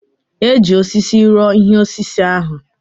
E ji osisi rụọ ihe osise ahụ.